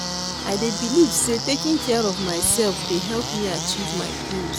I dey believe say taking care of myself dey help me achieve my goals.